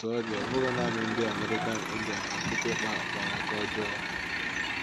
Otú ọ dị, ọ bụghị nanị ndị American Indian ka kịtịkpa kpara aka ọjọọ.